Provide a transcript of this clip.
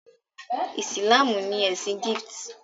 Ìsìlámù ní ẹsìn Gift.